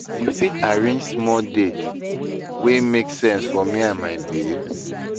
You fit arrange small date wey make sense for me and my babe?